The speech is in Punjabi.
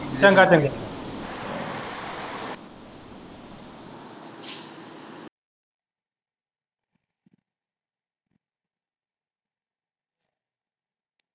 ਚੰਗਾ ਚੰਗਾ।